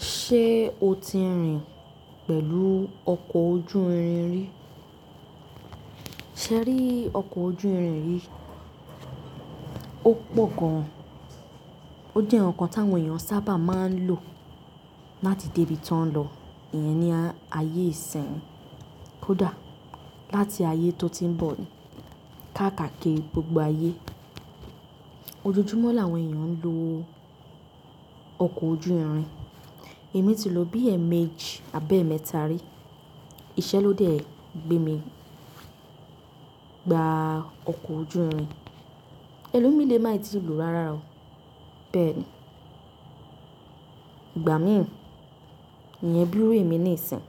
Ṣé o ti rìn pẹ̀lú ọkọ̀ ojú irin rí? Ṣé ẹ rí ọkọ̀ ojú irin yi? Ó pọ̀ gan. Ó jẹ́ ǹkan ti áwọn èèyàn sábà máa ń lò láti dé ibi tó ń lọ. Ìyẹn ni ayé ìsiń kódà láti ayé tó ti ń bọ̀ káàkiri gbogbo ayé. Ojojúmọ́ làwọn èèyàn ń lo ọkọ̀ ojú irin. Èmi ti lọ bí èèmejì àbi emẹ́ta rí. Iṣẹ́ ló dé gbé mi gba ọkọ̀ ojú irin. Ẹlòmíì lé má ì ti lo ráárá o, bẹ́ẹ̀ni. Ìgbà mí ì, ìyẹn bí ìru emi nísìń.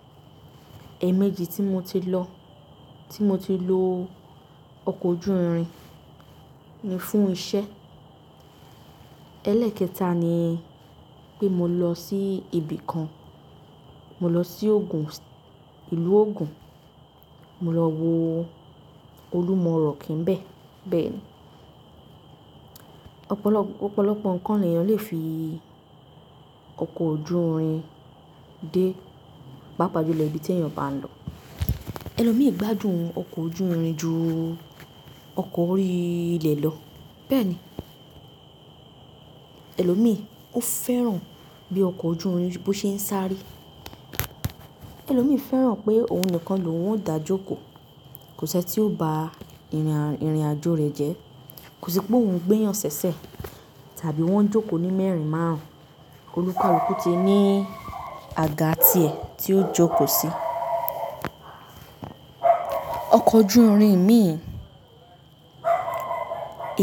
Èèmejì tí mo ti lọ, tí mo ti lo ọkọ̀ ojú irin ni fún iṣẹ́. Ẹlẹ́ẹ̀kẹta ni pé mo lọ sí ibi kan. Mo lọ sí Ogun, ìlú Ogun. Mo lọ wo Olúmọ rock bẹ́ẹ̀, bẹ́ẹ̀ni. Ọ̀pọ̀lọpọ̀ ǹkan ni èèyàn lè fi ọkọ̀ ojú irin dé, bá pàpajulo ibi tí èèyàn bá ń lọ. Ẹlòmíì gbádùn ọkọ̀ ojú irin ju ọkọ̀ orí ilẹ̀ lọ, bẹ́ẹ̀ni. Ẹlòmíì ó fẹ́ràn bí ọkọ̀ ojú irin bó ṣe ń sáré. Ẹlòmíì fẹ́ràn pé òun nìkan ló ń dàjoko. Kò ṣi eni tí ó ba ìrìnàjò rẹ̀ jẹ́. Kò sí pé òun gbẹ́yàn ṣẹ̀ṣẹ̀ tàbí wọ́n jókòó ní mẹ́rin márùn-ún. Olúkàlúkù ti ní àga tiẹ̀ tí ó jókòó sí. Ọkọ̀ ojú irin mi,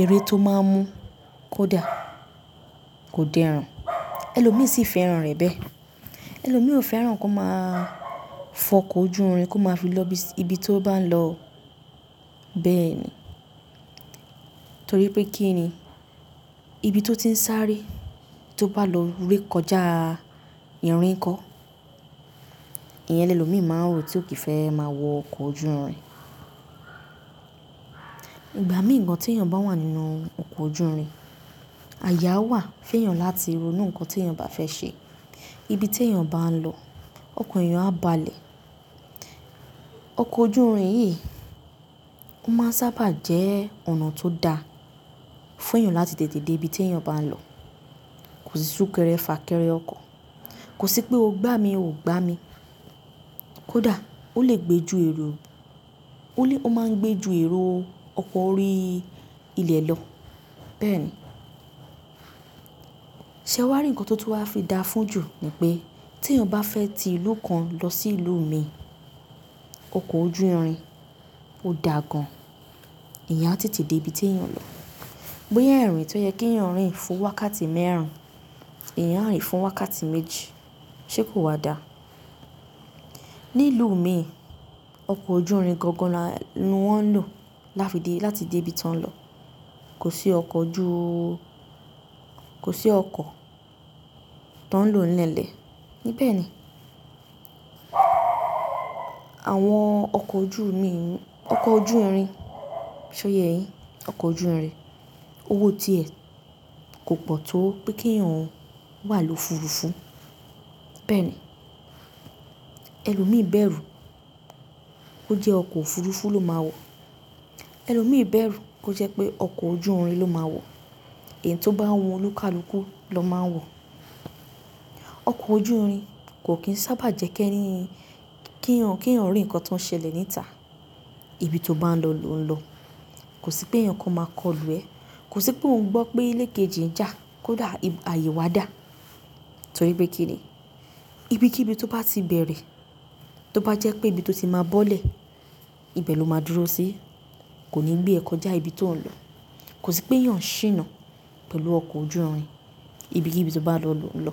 ère tó má ń mú kódà kò dẹrùn. Ẹlòmíì sì fẹ́ràn rẹ̀ bẹ́ẹ̀. Ẹlòmíì ò fẹ́ràn kó má a fọkọ̀ ojú irin kó máa fi lọ ibi tí ó bá ń lọ, bẹ́ẹ̀ni. Torí pé kí ni? Ibi tí ó ti ń sáré, tí ó bá lọ ré kọjá ìrìn kọ́, ìyẹn ni ẹlòmíì má ń ro tí ó kì í fẹ́ máa wọ ọkọ̀ ojú irin. Ìgbà míì gan tí èèyàn bá wà nínú ọkọ̀ ojú irin, àye awà fún èèyàn láti ro nú ǹkan tí èèyàn bá fẹ́ ṣe. Ibi tí èèyàn bá ń lọ, ọkọ̀ èèyàn á balẹ̀. Ọkọ̀ ojú irin yìí ó máa ń sábà jẹ́ ọ̀nà tó da fún èèyàn láti tètè dé ibi tí èèyàn bá ń lọ. Kò sí súkẹrẹ fà kẹrẹ ọkọ̀. Kò sí pé o gbá mi, ò gbá mi. Kódà ó lè gbé ju èrò, ó lè-- ó máa ń gbé ju èrò ọkọ̀ orí ilẹ̀ lọ, bẹ́ẹ̀ni. Ṣé wàá rí ǹkan tó tí wá fi da fún jù ni pé tí èèyàn bá fẹ́ ti ìlú kan lọ sí ìlú mi, ọkọ̀ ojú irin ó da gan. Ìyẹn á tètè dé ibi tí èèyàn lọ. Boya irìn tí ó yẹ kí èèyàn rìn fún wákàtí mẹ́rin, èèyàn á rìn fún wákàtí méjì, ṣé kò wà dà? Ní ìlú mi, ọkọ̀ ojú irin gangan là wón ń lò láti dé ibi ti won ń lọ. Kò sí ọkọ̀ ju-- kò sí ọkọ̀ tó ń lo lélẹ̀, ní bẹ́ẹ̀ni. Àwọn ọkọ̀ ojú mi, ọkọ̀ ojú irin, ṣọ ye yin, ọkọ̀ ojú irin, owó tiẹ̀ kò pọ̀ tó pé kí èèyàn wà ni ofurufu, bẹ́ẹ̀ni. Ẹlòmíì bẹ̀rù kó jẹ́ ọkọ̀ òfurufú ló máa wọ̀. Ẹlòmíì bẹ̀rù kó jẹ́ pé ọkọ̀ ojú irin ló máa wọ̀. Ẹni tí ó bá ń wọ olúkàlúkù ló máa ń wọ̀. Ọkọ̀ ojú irin kò kín sábà jẹ́ kí ẹni, kí èèyàn rí ǹkan tó ń ṣẹlẹ̀ níta. Ibi tí ó bá ń lọ ló ń lọ. Kò sí pé èèyàn kò máa kọlù ẹ. Kò sí pé òun gbọ́ pé ilé kejì ń jà kódà ààyè wa dà. Torí pé kí ni? Ibi kí ibi tó bá ti bẹ̀rẹ̀, tó bá jẹ́ pé ibi tí ó ti máa bọ́lẹ̀, ibẹ̀ ló máa dúró sí. Kò ní gbé ẹ kọjá ibi tí òun ń lọ. Kò sí pé èèyàn ṣìnà pẹ̀lú ọkọ̀ ojú irin ibi kí ibi tó bá lọ ló ń lọ.